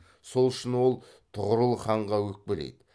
сол үшін ол тұғырыл ханға өкпелейді